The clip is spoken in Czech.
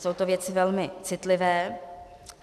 Jsou to věci velmi citlivé.